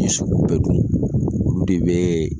Ni sogow bɛ dun olu de bɛ